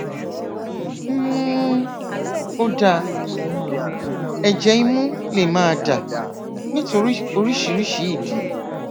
um ó dáa ẹjẹ imú lè máa dà nítorí oríṣiríṣi ìdí